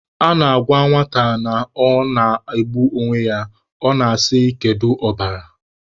A na-agwa nwata na ọ na-egbu onwe ya, ọ na-asị kedu ọbara?